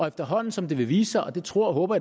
efterhånden som det vil vise sig og det tror og håber